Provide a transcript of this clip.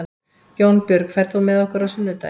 Jónbjörg, ferð þú með okkur á sunnudaginn?